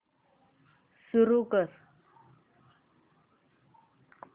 सुरू कर